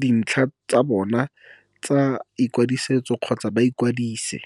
dintlha tsa bona tsa i kwadiso kgotsa ba ikwadise.